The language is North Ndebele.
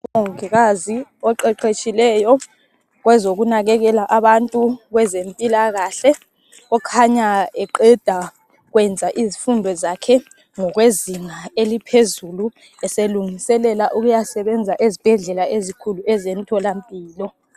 Umongikazi oqeqetshileyo ,kwezokunakelela abantu kwezezimpilakahle .Okhanya kuqeda kwenza izifundo zakhe ngokwezinga eliphezulu ,eselungiselela ukuyisebenza ezibhedlela ezinkulu ezemtholampilo.